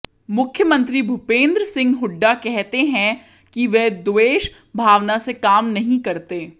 मुख्यमंत्री भूपेंद्र सिंह हुड्डा कहते हैं कि वे द्वेष भावना से काम नहीं करते